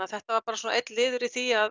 þetta var bara svona einn liður í því að